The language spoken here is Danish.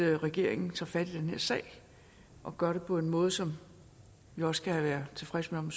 regeringen tager fat her sag og gør det på en måde som vi også kan være tilfredse med